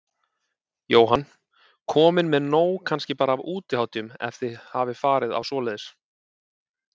Jóhann: Komin með nóg kannski bara af útihátíðum, ef þið hafið farið á svoleiðis?